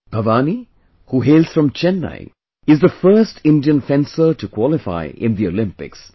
Bhavani, who hails from Chennai, is the first Indian fencer to qualify in the Olympics